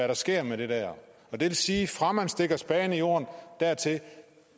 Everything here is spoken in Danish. der sker med det der det vil sige at fra man stikker spaden i jorden og dertil